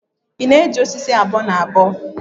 ị na-eji osisi abuo-na-abuo?